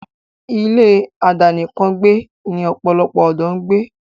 ilé àdánìkàn gbẹ́ ni pòlòlopò òdó ń gbé.